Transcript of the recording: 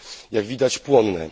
jak widać płonne.